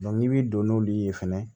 n'i bi don n'olu ye fɛnɛ